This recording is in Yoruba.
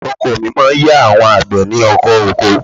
Ọkọ mi máa ń ya àwọn àgbẹ̀ ní ọkọ̀ oko